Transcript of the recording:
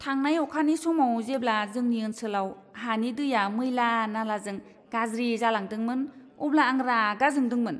थांनाय अखानि समाव जेब्ला जोंनि ओनसोलाव हानि दैया मैला नालाजों गाज्रि जालांदोंमोन, अब्ला आं रागा जोंदोंमोन!